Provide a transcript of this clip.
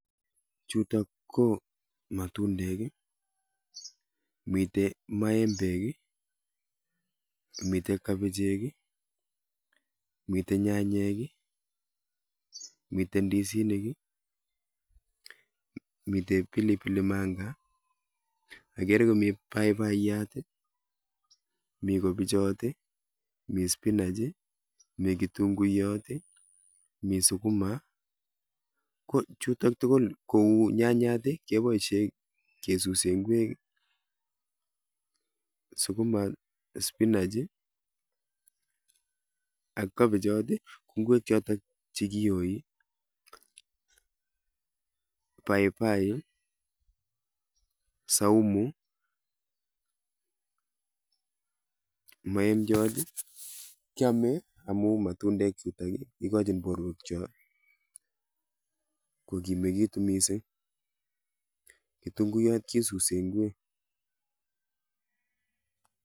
Chutok ko matundek, mitei maembek, mitei kabichek, mitei nyanyek, mitei ndisinik, mitei pilipili manga. Agere komi paipaiyat, mi kobichot, mi spinach, mi kitunguiyot, mi sukuma. Ko chutok tugul kou nyanyat, keboishe kesuse ingwek, sukuma, spinach ak kabichot, ingwek chotok chekioi. Paipai, saumu, maemchot kiamei amun matundek chutok ikochin borwek cho kokimekitu mising. Kitunguiyot kesuse ingwek.